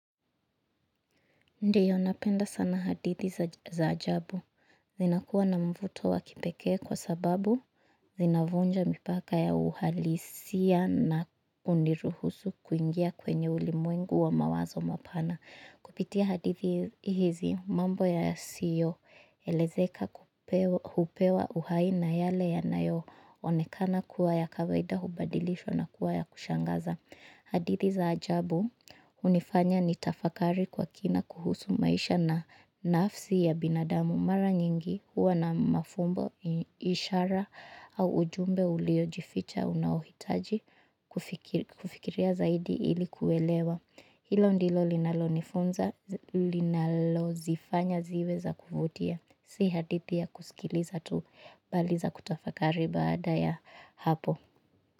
Ndiyo napenda sana hadithi za ajabu. Zinakuwa na mvuto wa kipekee kwa sababu zinavunja mipaka ya uhalisia na huniruhusu kuingia kwenye ulimwengu wa mawazo mapana. Kupitia hadithi hzi mambo yasiyoelezeka hupewa uhai na yale yanayoonekana kuwa ya kawaida hubadilishwa na kuwa ya kushangaza. Hadithi za ajabu hunifanya ni tafakari kwa kina kuhusu maisha na nafsi ya binadamu mara nyingi huwa na mafumbo ishara au ujumbe uliojificha unaohitaji kufikiria zaidi ili kuelewa. Hilo ndilo linalonifunza linalozifanya ziwe za kuvutia si hadithi ya kusikiliza tu bali za kutafakari baada ya hapo.